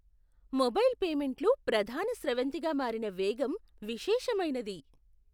Mobile పేమెంట్లు ప్రధాన స్రవంతిగా మారిన వేగం విశేషమైనది.